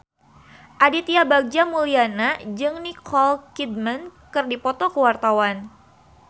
Aditya Bagja Mulyana jeung Nicole Kidman keur dipoto ku wartawan